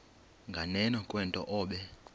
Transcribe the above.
nganeno kwento obe